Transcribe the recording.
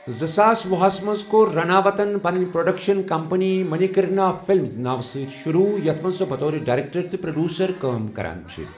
زٕساس وُہَس منٛز کوٚر رناوتَن پنٕنۍ پروڈکشن کمپنی منیکرنیکا فلمز ناوٕ سۭتۍ شروٗع یَتھ منٛز سۄ بطورٕ ڈائریکٹر تہٕ پروڈیوسر کٲم کران چھِ ۔